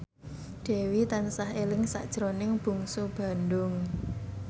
Dewi tansah eling sakjroning Bungsu Bandung